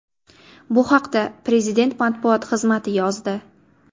Bu haqda prezident matbuot xizmati yozdi.